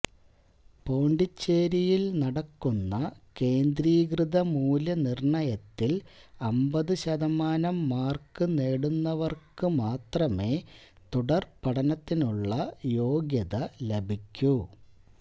പോണ്ടിച്ചേരിയില് നടക്കുന്ന കേന്ദ്രീകൃത മൂല്യ നിര്ണയത്തില് അമ്പതു ശതമാനം മാര്ക്ക് കു നേടുന്നവര്ക്ക് മാത്രമേ തുടര് പഠനത്തിനുളള യോഗ്യത ലഭിക്കൂ